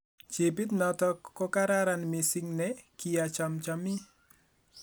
Jibit notok ko karan mising ne kiachomchomi